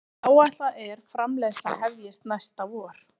Áætlað er framleiðsla hefjist næsta vor